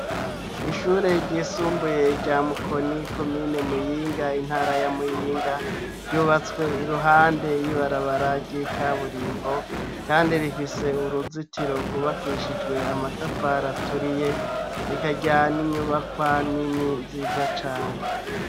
ishure ryisumbuye rya mukoni komine muyinga intara ya muyinga ryubatswe iruhande y'ibarabara ry'ikaburimbo kandi rifise uruzitiro rwubakishijwe amatafari aturiye rikagira n'inyubakwa nini nziza cane